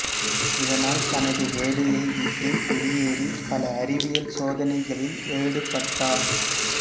இதனால் தனது வேலையை விட்டு வெளியேறி பல அறிவியல் சோதனிகளில் ஏடுபட்டார்